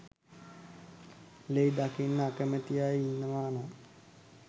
ලේ දකින්න අකමැති අය ඉන්නවා නම්